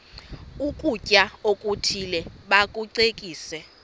ukutya okuthile bakucekise